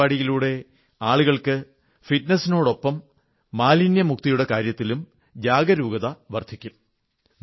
ഈ പരിപാടിയിലൂടെ ആളുകൾക്ക് ഫിറ്റ്നസ്നോടൊപ്പം മാലിന്യമുക്തിയുടെ കാര്യത്തിലും ജാഗരൂകത വർധിക്കും